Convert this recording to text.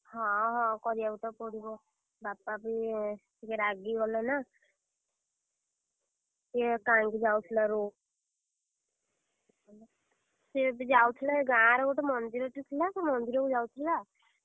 ହଁ ହଁ କରିଆକୁ ତ ପଡିବ, ବାପା ବି ଟିକେ, ରାଗି ଗଲେନା, ସିଏ କାହିଁକି ଯାଉଥିଲା road କୁ, ସିଏ ବି ଯାଉଥିଲା ଏ ଗାଁରେ ଗୋଟେ ମନ୍ଦିରଟେ ଥିଲା ସେ ମନ୍ଦିରକୁ ଯାଉଥିଲା, ।